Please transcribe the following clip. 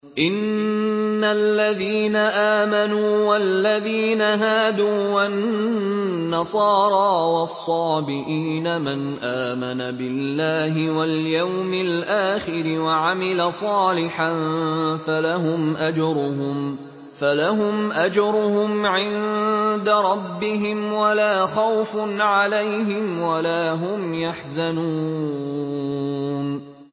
إِنَّ الَّذِينَ آمَنُوا وَالَّذِينَ هَادُوا وَالنَّصَارَىٰ وَالصَّابِئِينَ مَنْ آمَنَ بِاللَّهِ وَالْيَوْمِ الْآخِرِ وَعَمِلَ صَالِحًا فَلَهُمْ أَجْرُهُمْ عِندَ رَبِّهِمْ وَلَا خَوْفٌ عَلَيْهِمْ وَلَا هُمْ يَحْزَنُونَ